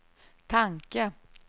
tanke